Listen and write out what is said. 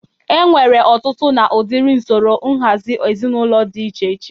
E nwere ọtụtụ na ụdịrị usoro nhazị ezinụlọ dị iche iche.